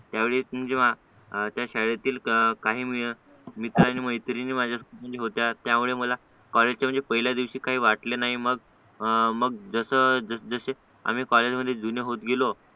त्यावेळी जेव्हा त्या शाळेतील काही मित्रांनी मैत्रिणींनी माझ्या होत्या त्यामुळे मला कॉलेजच्या पहिल्या दिवशी वाटले नाही मग मग जसं जसं कॉलेजमध्ये जुने होत गेलो